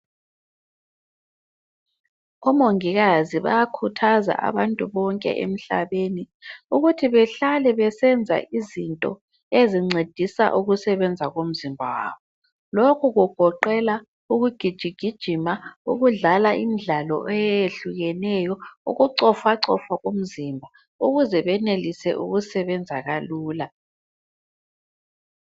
Omongikazi bayakhuthaza abantu bonke emhlabeni ukuthi behlale besenza izinto ezincedisa ukusebenza komzimba wabo. Lokhu kugoqela ukugijigijima, ukudlala imidlalo eyehlukeneyo, kucofacofa kwemzimba ukuze benelise ukusebenza kalula.